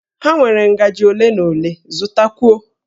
Ha nwere ngajị ole na ole, zụtakwuo!